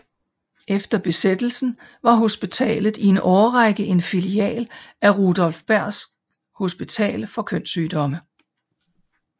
Efter besættelsen var hospitalet i en årrække en filial af Rudolf Bergs Hospital for kønssygdomme